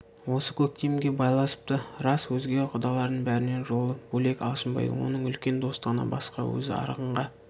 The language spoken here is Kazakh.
осы көктемге байласыпты рас өзге құданың бәрінен жолы бөлек алшынбай оның үлкен достығынан басқа өзі арғынға